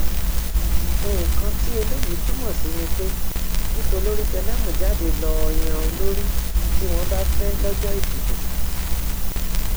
nǹkan tí eléyìí túmọ sí ni pé kí tolórí tẹlẹmú jáde lọọ yan olórí tí wọn bá fẹ lọjọ ìdìbò